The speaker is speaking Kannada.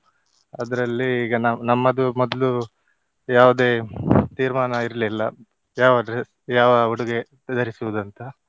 ಅದ್ರಲ್ಲಿ ಈಗ ನ~ ನಮ್ಮದು ಮೊದ್ಲು ಯಾವುದೇ ತೀರ್ಮಾನ ಇರ್ಲಿಲ್ಲ ಯಾವ dre~ ಯಾವ ಉಡುಗೆ ಧರಿಸುವುದಂತ.